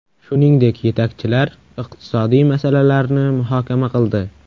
Shuningdek, yetakchilar iqtisodiy masalalarni muhokama qildi.